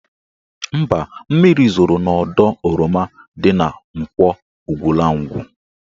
Mba, mmiri zoro n'ọdọ oroma dị n' Nkwọ Ugwulangwu.